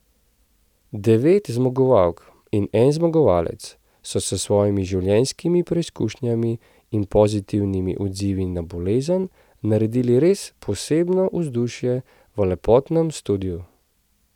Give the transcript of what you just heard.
Devet zmagovalk in en zmagovalec so s svojimi življenjskimi preizkušnjami in pozitivnimi odzivi na bolezen, naredili res posebno vzdušje v lepotnem studiu.